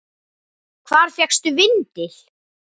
Hvar fékkstu vindil?